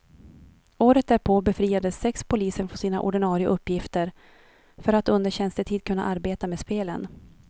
Året därpå befriades sex poliser från sina ordinare uppgifter för att under tjänstetid kunna arbeta med spelen.